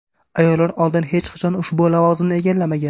Ayollar oldin hech qachon ushbu lavozimni egallamagan.